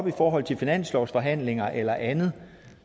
i forhold til finanslovsforhandlinger eller andet